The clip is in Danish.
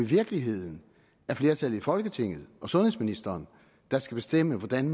virkeligheden er flertallet i folketinget og sundhedsministeren der skal bestemme hvordan